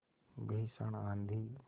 भीषण आँधी